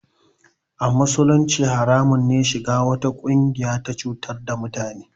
A musulunci haramun ne shiga wata ƙungiya ta cutar da mutane